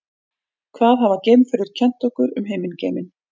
hvað hafa geimferðir kennt okkur um himingeiminn